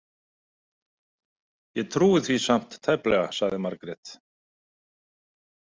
Ég trúi því samt tæplega, sagði Margrét.